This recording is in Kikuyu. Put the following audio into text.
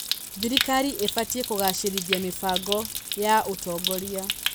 Thirikari ĩbatiĩ kũgacĩrithia mĩbango ya ũtongoria.